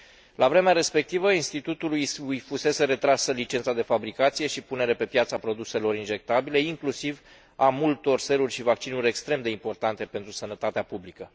La vremea respectivă, Institutului îi fusese retrasă licența de fabricație și punere pe piață a produselor injectabile, inclusiv a multor seruri și vaccinuri extrem de importante pentru sănătatea publică.